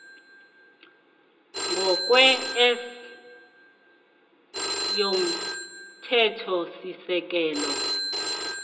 ngokwe s yomthethosisekelo